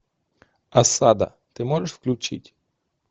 осада ты можешь включить